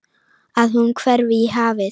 Að hún hverfi í hafið.